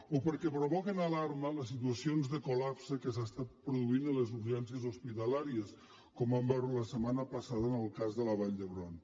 o perquè provoquen alarma les situacions de coltan produint a les urgències hospitalàries com vam veure la setmana passada en el cas de la vall d’hebron